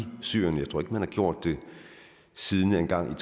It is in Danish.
syrien jeg tror faktisk ikke man har gjort det siden engang